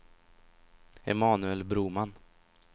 Emanuel Broman